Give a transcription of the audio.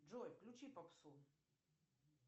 джой включи попсу